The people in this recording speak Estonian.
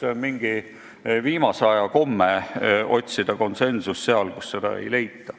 See on viimase aja komme otsida konsensust seal, kus seda ei leita.